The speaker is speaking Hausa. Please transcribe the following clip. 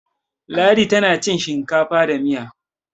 ladi tana ci hinkafa da Miya